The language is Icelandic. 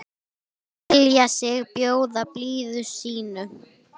selja sig, bjóða blíðu sínu